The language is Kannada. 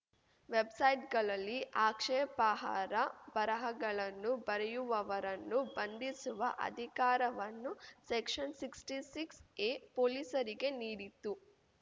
ವೆಬ್‌ಸೈಟ್‌ಗಳಲ್ಲಿ ಆಕ್ಷೇಪಹಾರ ಬರಹಗಳನ್ನು ಬರೆಯುವವರನ್ನು ಬಂಧಿಸುವ ಅಧಿಕಾರವನ್ನು ಸೆಕ್ಷನ್‌ ಸಿಕ್ಸ್ಟಿ ಸಿಕ್ಸ್ ಎ ಪೊಲೀಸರಿಗೆ ನೀಡಿತ್ತು